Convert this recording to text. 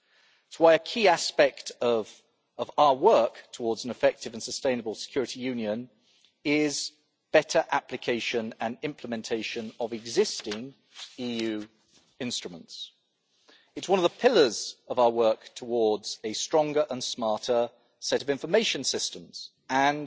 This is why a key aspect of our work towards an effective and sustainable security union is better application and implementation of existing EU instruments. It is one of the pillars of our work towards a stronger and smarter set of information systems and